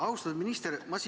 Austatud minister!